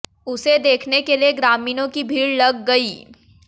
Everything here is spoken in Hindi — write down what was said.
उसे देखने के लिए ग्रामीणों की भीड़ लग गई